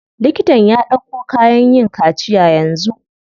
Liktan ya ɗauko kayan yin kaciya yanzu.